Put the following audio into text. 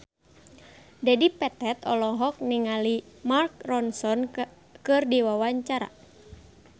Dedi Petet olohok ningali Mark Ronson keur diwawancara